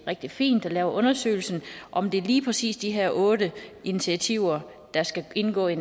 rigtig fint at lave undersøgelsen om det lige præcis er de her otte initiativer der skal indgå i